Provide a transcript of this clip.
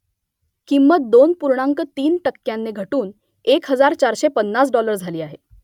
किंमत दोन पूर्णांक तीन टक्क्यांनी घटून एक हजार चारशे पन्नास डॉलर झाली आहे